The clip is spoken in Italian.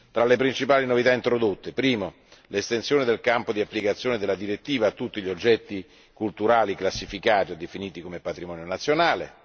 Tra le principali novità introdotte primo, l'estensione del campo di applicazione della direttiva a tutti gli oggetti culturali classificati o definiti come patrimonio nazionale